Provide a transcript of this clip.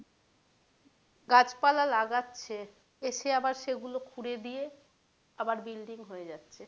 গাছপালা লাগাচ্ছে এসে আবার সেগুলো খুঁড়ে দিয়ে আবার building হয়ে যাচ্ছে